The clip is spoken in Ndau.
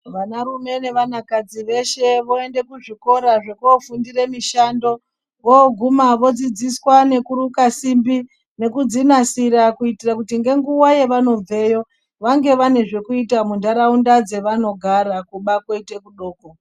Vanarume nevanakadzi veshe voende kuzvikora zvekofundire mishando voguma vodzidziswa nekuruka simbi nekudzinasira kuitira kuti ngenguva yevanobveyo vange vane zvekuita muntaraunda dzevanogara kuba koita kudoko.